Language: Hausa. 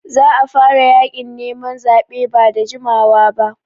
Za a fara yaƙin neman zaɓe ba da jimawa ba.